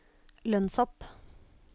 lønnshopp